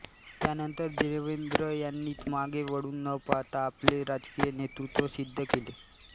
त्यानंतर देवेंद्र यांनी मागे वळून न पाहाता आपले राजकीय नेतृत्व सिद्ध केले